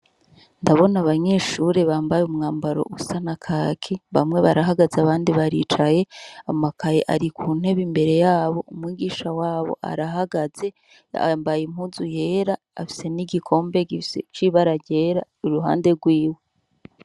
Ndabona abanyeshure bambaye umwambaro usa na kaki bamwe barahagaze abandi baricaye, amakaye ari ku ntebe imbere yabo umwigisha wabo arahagaze yambaye impuzu yera afise n’igikombe gifise c’ibara ryera kuruhande rwiwe.